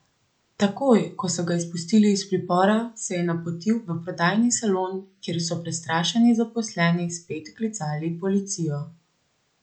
Takoj, ko so ga izpustili iz pripora, se je napotil v prodajni salon, kjer so prestrašeni zaposleni spet klicali policijo.